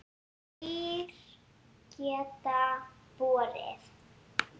Kýr geta borið